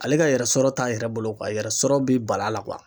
Ale ka yɛrɛsɔrɔ t'a yɛrɛ bolo yɛrɛ sɔrɔ bi bala